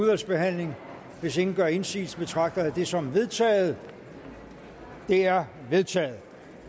udvalgsbehandling hvis ingen gør indsigelse betragter jeg det som vedtaget det er vedtaget